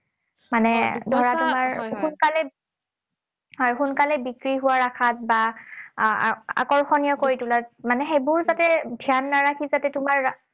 মানে ধৰা তোমাৰ সোনকালে হয়, সোনকালে বিক্ৰী হোৱাৰ আশাত বা আহ আকৰ্ষণীয় কৰি তোলাত, মানে সেইবোৰ যাতে ধ্যান নাৰাখি যাতে তোমাৰ